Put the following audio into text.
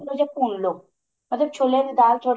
ਥੋੜਾ ਜਾ ਭੁੰਨ ਲੋ ਮਤਲਬ ਛੋਲਿਆਂ ਦੀ ਦਾਲ ਥੋੜੀ